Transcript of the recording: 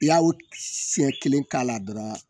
I y'a o siɲɛ kelen k'a la dɔrɔn